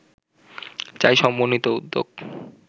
চাই সমন্বিত উদ্যোগ